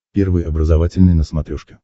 первый образовательный на смотрешке